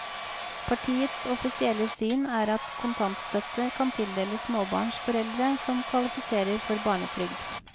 Partiets offisielle syn er at kontantstøtte kan tildeles småbarnsforeldre som kvalifiserer for barnetrygd.